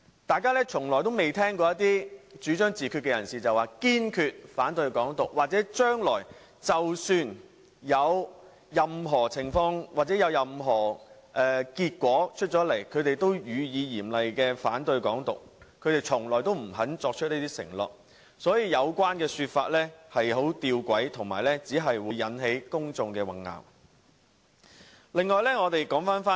大家從未聽過一些主張自決的人士表明堅決反對"港獨"，或即使將來出現任何情況或結果，他們也會嚴厲反對"港獨"，他們從來不肯作出這種承諾，所以有關說法十分弔詭，並只會混淆公眾。